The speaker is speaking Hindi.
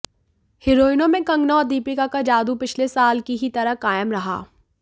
हीरोइनों में कंगना और दीपिका का जादू पिछले साल की ही तरह कायम रहा